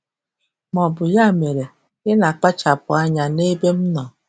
ma ọ bụ "Ya mere, ị na-akpachapụ anya n'ebe m nọ!"